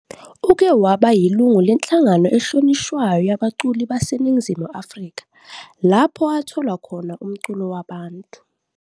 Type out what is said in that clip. Uke waba yilungu lenhlangano ehlonishwayo yabaculi baseNingizimu Afrika, lapho athola khona umculo wabantu.